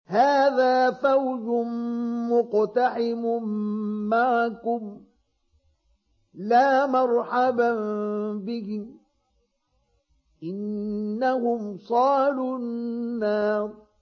هَٰذَا فَوْجٌ مُّقْتَحِمٌ مَّعَكُمْ ۖ لَا مَرْحَبًا بِهِمْ ۚ إِنَّهُمْ صَالُو النَّارِ